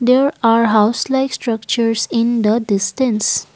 there are house like structures in the distance.